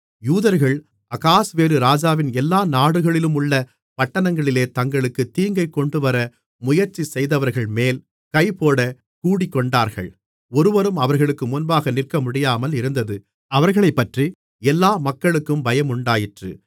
யூதர்கள் அகாஸ்வேரு ராஜாவின் எல்லா நாடுகளிலுமுள்ள பட்டணங்களிலே தங்களுக்கு தீங்கை கொண்டுவர முயற்சிசெய்தவர்கள்மேல் கைபோடக் கூடிக்கொண்டார்கள் ஒருவரும் அவர்களுக்கு முன்பாக நிற்கமுடியாமல் இருந்தது அவர்களைப்பற்றி எல்லா மக்களுக்கும் பயமுண்டாயிற்று